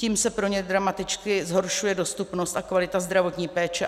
Tím se pro ně dramaticky zhoršuje dostupnost a kvalita zdravotní péče.